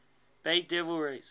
bay devil rays